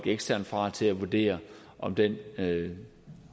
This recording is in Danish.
eksterne folk til at vurdere om den